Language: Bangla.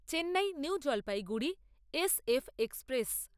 Chennai New Jalpaiguri S F express